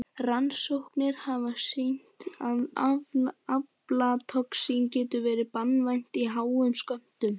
Rannsóknir hafa sýnt að aflatoxín getur verið banvænt í háum skömmtum.